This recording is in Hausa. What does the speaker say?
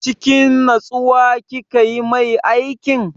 Cikin natsuwa kika yi mai aikin?